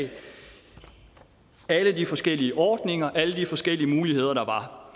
alle de forskellige ordninger alle de forskellige muligheder der var